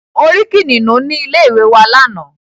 Mo rí Kìnìnú ní ilé ìwé wa lánàá.